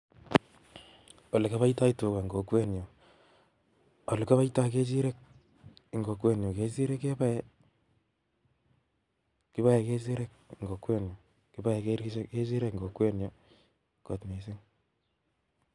Ole kiboitoo tugaa, en kokwenyun, ole kiboito kechirek en kokwenyun ,kechirek keboe en kokwenyun